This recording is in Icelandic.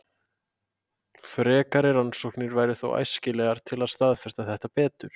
frekari rannsóknir væru þó æskilegar til að staðfesta þetta betur